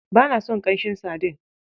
Ba na son ƙanshin sadin?